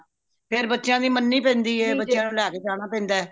ਫੇਰ ਬੱਚਿਆਂ ਦੀ ਮੰਨੀ ਪੈਂਦੀ ਹੈ ਫੇਰ ਬੱਚਿਆਂ ਨੂੰ ਲੇ ਕੇ ਜਾਣਾ ਪੇਂਦਾ